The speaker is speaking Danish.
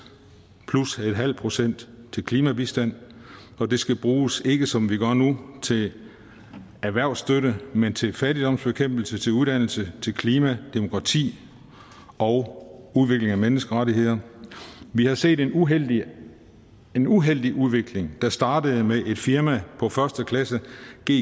plus en halv procent til klimabistand og det skal bruges ikke som vi gør nu til erhvervsstøtte men til fattigdomsbekæmpelse til uddannelse til klima demokrati og udvikling af menneskerettigheder vi har set en uheldig en uheldig udvikling der startede med et firma på første klasse